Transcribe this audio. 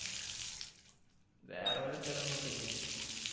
വേറെ വല്ല സ്ഥലോം നോക്ക് ഇജ്ജ്.